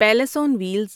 palace on wheels